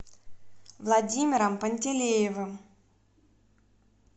владимиром пантелеевым